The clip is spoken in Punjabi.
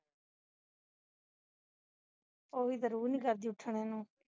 ਉਹਦੀ ਤੇ ਰੂਹ ਨਹੀਂ ਕਰਦੀ ਉੱਠਣੇ ਨੂੰ